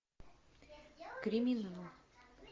криминал